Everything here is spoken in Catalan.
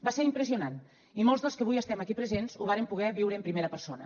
va ser impressionant i molts dels que avui estem aquí presents ho vàrem poder viure en primera persona